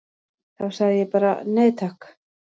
Þá sagði ég bara: Nei takk!